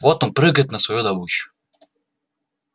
вот он прыгает на свою добычу